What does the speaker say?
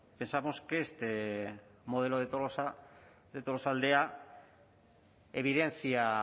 pensamos que este modelo de tolosaldea evidencia